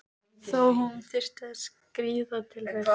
Þó hún þyrfti að skríða til þess.